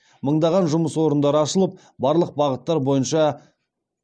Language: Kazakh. мыңдаған жұмыс орындары ашылып барлық бағыттар бойынша